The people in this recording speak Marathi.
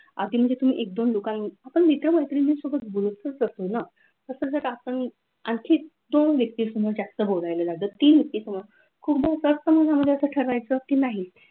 आता म्हणजे तुम्ही आपण मित्र-मैत्रिणींसोबत ग्रुपच असतो ना, तसंच संडास टाकताना आणखी दोन व्यक्ती समोर जास्त बोलावे तीन व्यक्ती समोर खूप जास्त ठरवायचे की नाही,